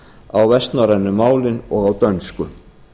á vestnorrænu málin og á dönsku